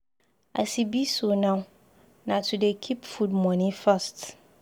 As e be so now, na to dey keep food moni first.